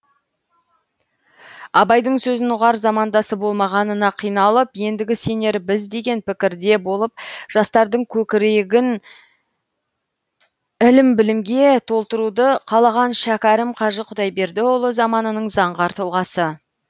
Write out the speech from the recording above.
абайдың сөзін ұғар замандасы болмағанына қиналып ендігі сенері біз деген пікірде болып жастардың көкірегін ілім білімге толтыруды қалаған шәкәрім қажы құдайбердіұлы заманының заңғар тұлғасы